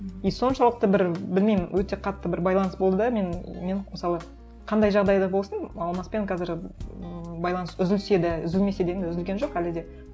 и соншалықты бір білмеймін өте қатты бір байланыс болды да мен мен мысалы қандай жағдай да болсын алмаспен қазір ыыы байланыс үзілсе де үзілмесе де енді үзілген жоқ әлі де